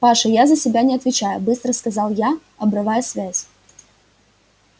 паша я за себя не отвечаю быстро сказал я обрывая связь